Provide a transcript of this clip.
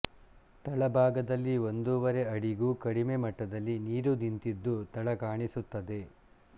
ತಳಭಾಗದಲ್ಲಿ ಒಂದೂವರೆ ಅಡಿಗೂ ಕಡಿಮೆ ಮಟ್ಟದಲ್ಲಿ ನೀರು ನಿಂತಿದ್ದು ತಳ ಕಾಣಿಸುತ್ತದೆ